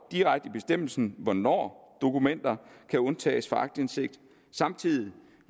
direkte i bestemmelsen hvornår dokumenter kan undtages fra aktindsigt samtidig